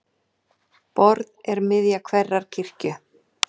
Borð er miðja hverrar kirkju.